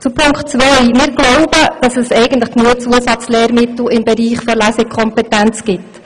Zu Punkt 2: Wir glauben, dass es eigentlich genügend Zusatzlehrmittel im Bereich der Lesekompetenz gibt.